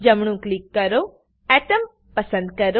જમણું ક્લિક કરો એટોમ પસંદ કરો